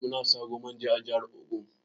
Muna Saro manja a jahar ogun.